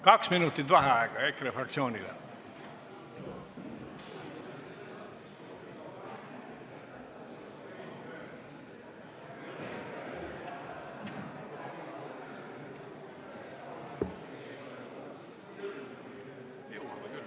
Kaks minutit vaheaega EKRE fraktsioonile.